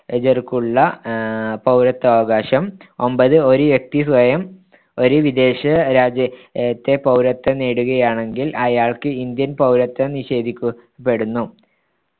ജർക്കുള്ള ആഹ് പൗരത്വാവകാശം ഒമ്പത് ഒരു വ്യക്തി സ്വയം ഒരു വിദേശരാജ്യത്തെ പൗരത്വം നേടുകയാണെങ്കിൽ അയാൾക്ക്‌ ഇന്ത്യൻ പൗരത്വം നിഷേധിക്കപ്പെടുന്നു